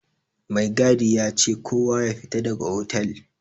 Mai gadi yace kowa yafita daga otal.